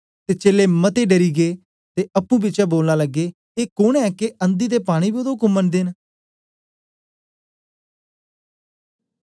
ते चेलें मते डरी गै ते अप्पुं बिचें बोलन लगे ए कोन ऐ के अंधी ते पानी बी ओदा उक्म मनदे न